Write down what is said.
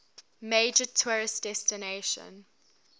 major tourist destination